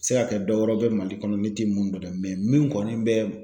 Se ka kɛ dɔ wɛrɛ bɛ mali kɔnɔ ne tɛ mun dɔn dɛ min kɔni bɛ.